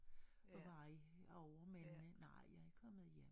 Og være derovre men nej jeg er kommet hjem